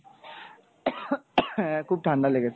হ্যা খুব ঠান্ডা লেগেছে।